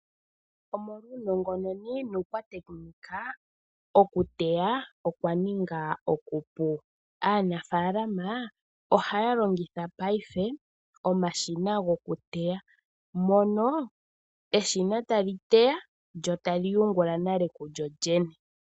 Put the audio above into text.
Omolwa uunongononi nukwatekinika oku teya okwa ninga okupu. Aanafalama ohaya longitha paife omashina goku teya. Mono eshina tali teya lyo tali yungula nale kulyo lyene.